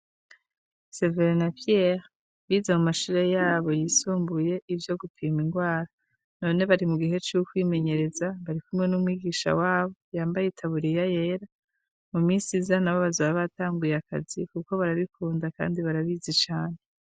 Severe na Piyere bize mu mashure yabo yisumbuye ivyo gupima ingwara none bari mu bihe c'ukwimenyereza, barikumwe n'umwigisha wabo yambaye itaburiya yera, mu misi iza nabo bazoba batanguye akazi kuko barabikunda kandi barabizi cane.